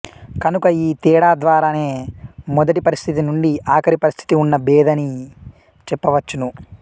కనుక ఈ తేడా ద్వారా నే మొదటి పరిస్థితి నుండి ఆఖరి పరిస్థితి ఉన్న భేదాని చెప్పవచ్చును